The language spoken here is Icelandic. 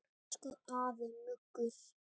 Elsku afi Muggur.